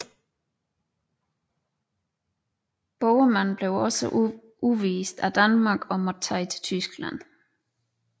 Boheman blev også udvist af Danmark og måtte tage til Tyskland